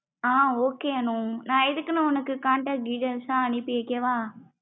ஆஹ் okay Anu நா இதுக்குன்னு உனக்கு contect details லாம் அனுப்பி வைக்கவா.